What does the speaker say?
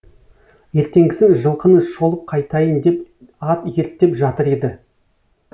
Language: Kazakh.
ертеңгісін жылқыны шолып қайтайын деп ат ерттеп жатыр еді